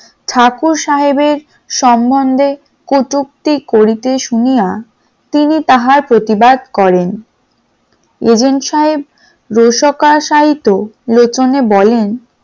ঠাকুর সাহেবের সম্বন্ধে কটুক্তি করিতে শুনিয়া তিনি তাহার প্রতিবাদ করেন । agent সাহেব রসকা সাহিত্য লোচনে বলেন